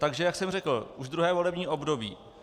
Takže jak jsem řekl, už druhé volební období.